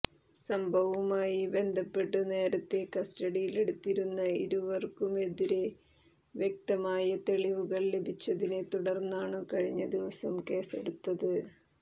സംഭവവുമായി ബന്ധപ്പെട്ടു നേരത്തെ കസ്റ്റഡിയിലെടുത്തിരുന്ന ഇരുവർക്കുമെതിരെ വ്യക്തമായ തെളിവുകൾ ലഭിച്ചതിനെ തുടർന്നാണു കഴിഞ്ഞ ദിവസം കേസെടുത്തത്